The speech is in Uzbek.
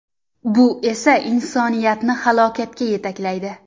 Bu esa insoniyatni halokatga yetaklaydi.